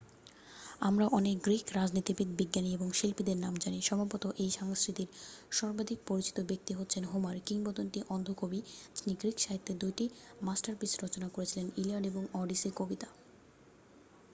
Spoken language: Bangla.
আমরা অনেক গ্রীক রাজনীতিবিদ বিজ্ঞানী এবং শিল্পীদের জানি সম্ভবত এই সংস্কৃতির সর্বাধিক পরিচিত ব্যক্তি হচ্ছেন হোমার কিংবদন্তি অন্ধ কবি যিনি গ্রীক সাহিত্যের 2 টি মাস্টারপিস রচনা করেছিলেন ইলিয়াড এবং ওডিসি কবিতা